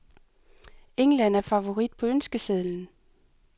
England er favorit på ønskesedlen.